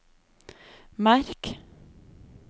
merk